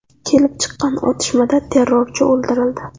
Kelib chiqqan otishmada terrorchi o‘ldirildi.